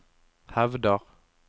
hevder